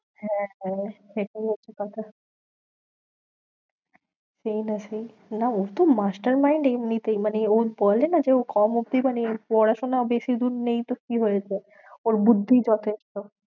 হ্যাঁ, হ্যাঁ সেটাই হচ্ছে কথা সেই না সেই, না ও তো master mind এমনিতেই মানে ওর বলে না যে ও কম অবধি মানে পড়াশোনা বেশিদূর নেই তো কি হয়েছে? ওর বুদ্ধিই যথেষ্ট।